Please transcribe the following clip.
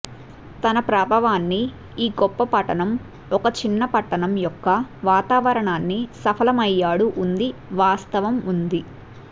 తన ప్రాభవాన్ని ఈ గొప్ప పట్టణం ఒక చిన్న పట్టణం యొక్క వాతావరణాన్ని సఫలమయ్యాడు ఉంది వాస్తవం ఉంది